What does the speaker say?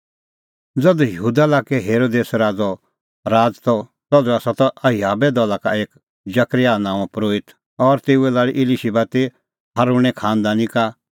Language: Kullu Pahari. ज़धू यहूदा लाक्कै हेरोदेस राज़ैओ राज़ त तधू त अबियाहे दला दी एक जकरयाह नांओं परोहित और तेऊए लाल़ी इलीशिबा ती हारूणें खांनदानी का